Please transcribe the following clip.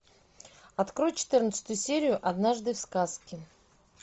открой четырнадцатую серию однажды в сказке